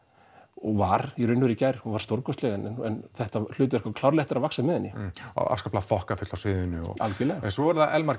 og var í raun og í gær hún var stórkostleg en þetta hlutverk á klárlega eftir að vaxa með henni og afskaplega þokkafull á sviðinu algjörlega en svo er það Elmar